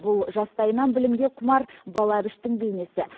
бұл жастайынан білімге құмар бала әбіштің бейнесі